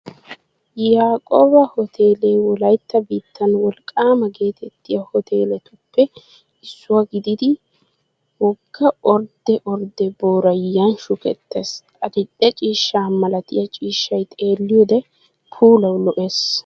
Yaaqooba hoteele wolaytta biittan wolqqaama geetettiyaa hoteeletuppe issuwaa gididi wogga ordde ordde booray Yan shukettees. Adil'e ciishsha malatiyaa ciishshay xeelliyoode puulawu lo'ees.